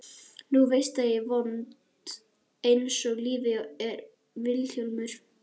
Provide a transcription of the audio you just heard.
Nú veistu að ég er vond einsog lífið er Vilhjálmur.